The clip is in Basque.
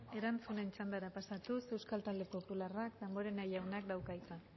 erantzunen txandara pasatuz euskal talde popularra damborenea jaunak dauka hitza